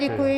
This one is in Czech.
Děkuji.